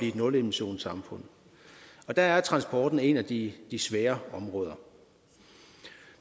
et nulemissionssamfund og der er transporten et af de svære områder